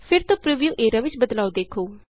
ਫਿਰ ਤੋਂ preview area ਵਿਚ ਬਦਲਾਉ ਦੇਖੋ